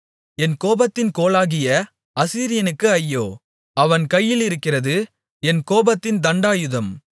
என் கோபத்தின் கோலாகிய அசீரியனுக்கு ஐயோ அவன் கையிலிருக்கிறது என் கோபத்தின் தண்டாயுதம்